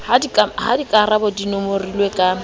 ha dikarabo di nomorilwe ka